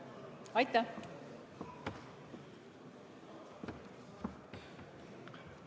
Aitäh!